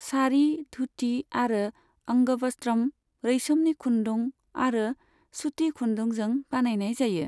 सारि, धुथि आरो अंग वस्त्रम रैसोमनि खुन्दुं आरो सुति खुन्दुंजों बानायनाय जायो।